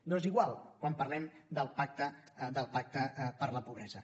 doncs igual quan parlem del pacte per la pobresa